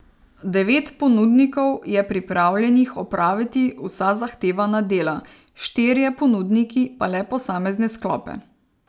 Devet ponudnikov je pripravljenih opraviti vsa zahtevana dela, štirje ponudniki pa le posamezne sklope.